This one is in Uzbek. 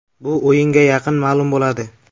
Bu o‘yinga yaqin ma’lum bo‘ladi.